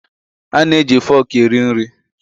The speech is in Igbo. A na-eji foku eri nri.